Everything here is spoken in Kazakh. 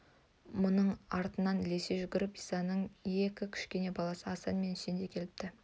мұның артынан ілесе жүгіріп исаның екі кішкене баласы асан мен үсен де келіпті